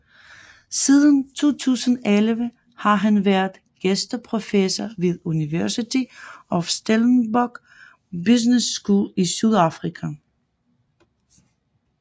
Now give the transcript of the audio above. Siden 2011 har han været gæsteprofessor ved University of Stellenbosch Business School i Sydafrika